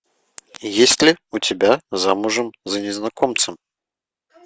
есть ли у тебя замужем за незнакомцем